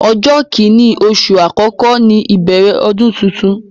Ọjọ́ kini oṣù àkọ́kọ́ ní ìbẹ̀rẹ̀ ọdún tuntun.